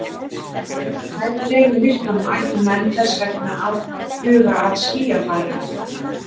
Þegar nær dregur myrkvanum ættu menn þess vegna að huga að skýjafari.